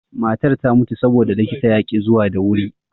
Matar ta mutu saboda likitan yaƙi zuwa da wuri.